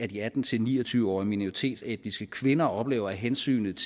de atten til ni og tyve årige minoritetsetniske kvinder oplever at hensynet